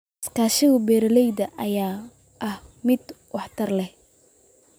Iskaashiga beeralayda ayaa ah mid aad waxtar u leh.